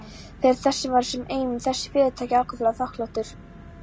Fyrir það erum við sem eigum þessi fyrirtæki ákaflega þakklátir.